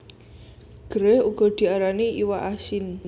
Gerèh uga diarani iwak asin